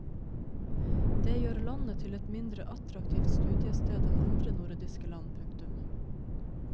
Det gjør landet til et mindre attraktivt studiested enn andre nordiske land. punktum